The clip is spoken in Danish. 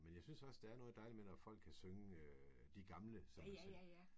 Men jeg synes også der er noget dejligt med når folk kan synge de gamle som man siger